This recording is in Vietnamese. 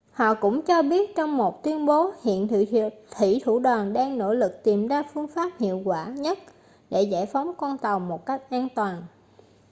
họ cũng cho biết trong một tuyên bố hiện thuỷ thủ đoàn đang nỗ lực tìm ra phương pháp hiệu quả nhất để giải phóng con tàu một cách an toàn